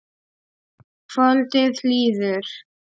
Kvöldið líður.